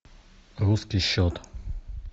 русский счет